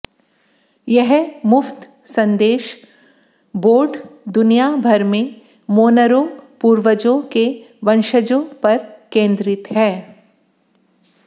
यह मुफ्त संदेश बोर्ड दुनिया भर में मोनरो पूर्वजों के वंशजों पर केंद्रित है